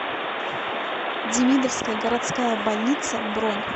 демидовская городская больница бронь